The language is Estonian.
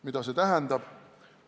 Mida see tähendab?